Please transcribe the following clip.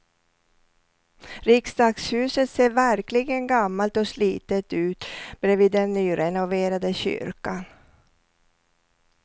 Riksdagshuset ser verkligen gammalt och slitet ut bredvid den nyrenoverade kyrkan.